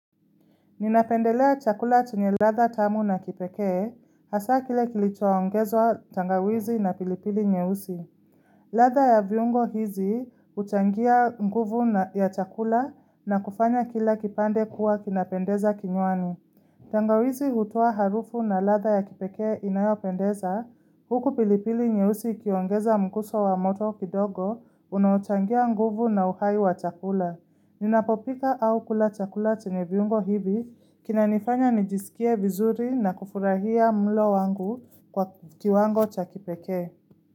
Ninapendelea chakula chenye latha tamu na kipekee, hasa kile kilichoa ongezwa tangawizi na pilipili nye usi. Latha ya viungo hizi utangia nguvu ya chakula na kufanya kila kipande kuwa kinapendeza kinywani. Tangawizi hutoa harufu na latha ya kipekee inayopendeza, huku pilipili nyeusi kiongeza mkuso wa moto kidogo, unauchangia nguvu na uhai wa chakula. Ninapopika au kulata kulate chenye viungo hivi, kina nifanya nijisikie vizuri na kufurahia mlo wangu kwa kiwango chakipeke.